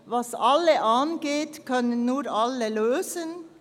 «Was alle angeht, können nur alle lösen.»